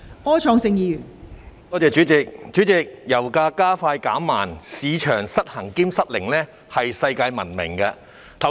代理主席，香港的油價加快減慢、市場失衡兼失靈是世界聞名的。